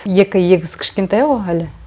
екі егіз кішкентай ғой әлі